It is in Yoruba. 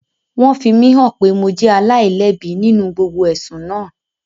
Wọ́n fi mí hàn pé mo jẹ́ aláìlẹ́bi nínú gbogbo ẹ̀sùn naa